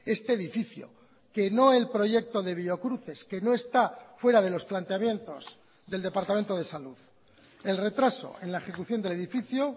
este edificio que no el proyecto de biocruces que no está fuera de los planteamientos del departamento de salud el retraso en la ejecución del edificio